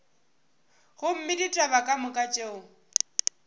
gomme ditaba ka moka tšeo